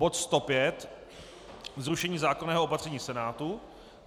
bod 105 - zrušení zákonného opatření Senátu;